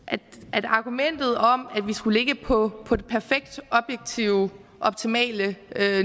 at argumentet om at vi skulle ligge på på det perfekte objektive optimale